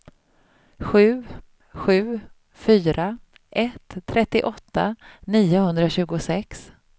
sju sju fyra ett trettioåtta niohundratjugosex